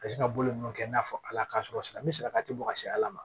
Ka sin ka bolo ninnu kɛ i n'a fɔ ala k'a sɔrɔ salati sera ka ti bɔ ka se ala ma